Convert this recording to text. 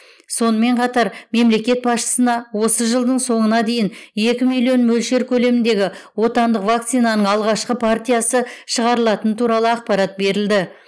сонымен қатар мемлекет басшысына осы жылдың соңына дейін екі миллион мөлшер көлеміндегі отандық вакцинаның алғашқы партиясы шығарылатын туралы ақпарат берілді